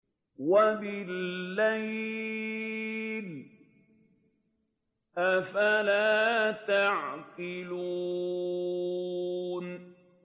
وَبِاللَّيْلِ ۗ أَفَلَا تَعْقِلُونَ